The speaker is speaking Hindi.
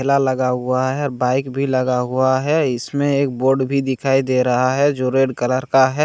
ठेला लगा हुआ है बाइक भी लगा हुआ है इसमें एक बोर्ड भी दिखाई दे रहा है जो रेड कलर का है।